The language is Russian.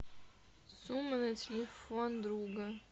сумма на телефон друга